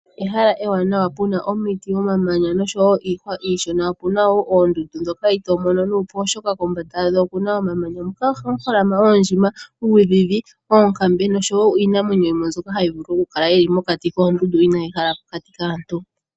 Ehala ewanawa puna omiti omamanya niihwa iishona. Opuna woo oondundu ndhoka itomono nuupu oshoka kombanda yadho okuna omamanya huka ohaku holama oondjima ,uudhidhi, oonkambe noshowo iinamwenyo yomwe mbyoka hayi vulu okukala yili pokati koondundu inayi hala pokati kaantu.